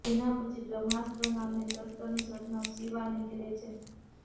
જેના પછી બ્રહ્માસ્ત્ર નામના શસ્ત્રની શોધમાં શિવા નીકળે છે